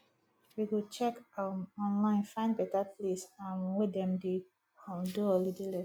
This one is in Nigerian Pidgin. we go check um online find beta place um wey dem dey um do holiday lesson